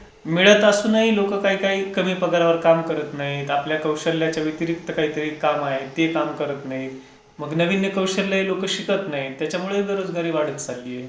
मिळत असूनही लोकं काही काही कमी पगारावर काम करत नाहीत. आपल्या कौशल्याच्या व्यतिरिक्त काही काम आहे ते काम करत नाहीत. मग नवीन हे कौशल्य हे लोक शिकत नाहीत. त्याच्यामुळे बेरोजगारी वाढत चालली आहे.